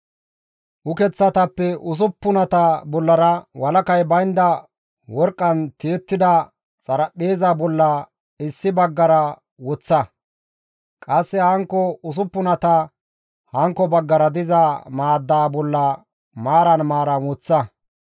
Ukeththatappe usuppunata bollara walakay baynda worqqan tiyettida xaraphpheeza bolla issi baggara woththa; qasse hankko usuppunata hankko baggara diza maaddaa bolla maaran maaran woththa.